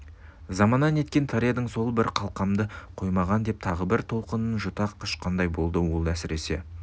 замана неткен тар едің сол қалқамды қоймаған деп тағы бір толқынын жұта құшқандай болады ол әсіресе